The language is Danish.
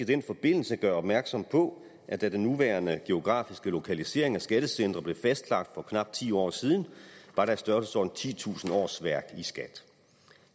den forbindelse gøre opmærksom på at da den nuværende geografiske lokalisering af skattecentre blev fastlagt for knap ti år siden var der i størrelsesordenen titusind årsværk i skat